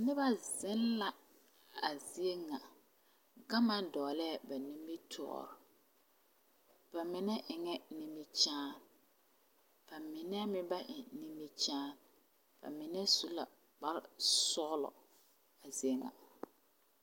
Noba zeŋ la a zie ŋa gama doglee ba nimitɔɔre ba mine eŋɛ nimikyaani ba mine meŋ ba eŋ nimikyaani ba mine su la kpare sɔglɔ a zie ŋa.